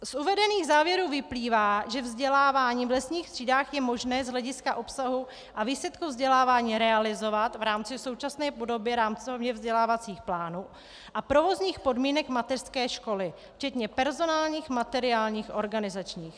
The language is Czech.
Z uvedených závěrů vyplývá, že vzdělávání v lesních třídách je možné z hlediska obsahu a výsledku vzdělávání realizovat v rámci současné podoby rámcově vzdělávacích plánů a provozních podmínek mateřské školy, včetně personálních, materiálních, organizačních.